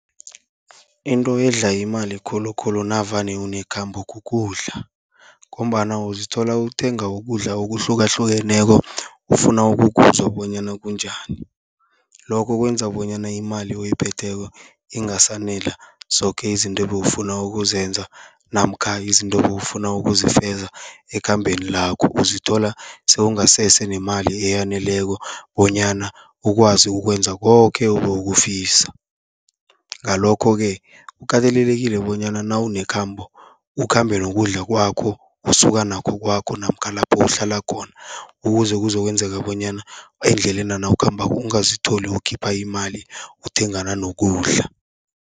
Into edla imali khulukhulu navane unekhambo kukudla, ngombana uzithola uthenga ukudla okuhlukahlukeneko ufuna ukukuzwa bonyana kunjani. Lokho kwenza bonyana imali oyiphetheko ingasanela zoke izinto ebewufuna ukuzenza, namkha izinto obewufuna ukuzifeza ekhambeni lakho. Uzithola sowungasese nemali eyaneleko bonyana ukwazi ukwenza koke obowukufisa. Ngalokho-ke kukatelelekile bonyana nawunekhambo, ukhambe nokudla kwakho osuka nakho kwakho namkha lapho uhlala khona, ukuze kuzokwenzeka bonyana endlelena nawukhambako ungazitholi ukhipha imali uthengana nokudla.